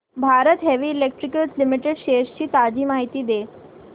Bharat Heavy Electricals Limited shares ची ताजी माहिती दे